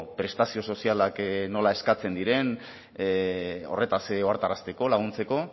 prestazio sozialak nola eskatzen diren horretaz ohartarazteko laguntzeko